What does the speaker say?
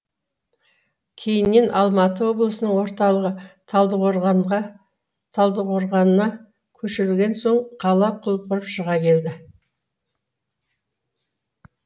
кейіннен алматы облысының орталығы талдықорғана көшірілген соң қала құлпырып шыға келді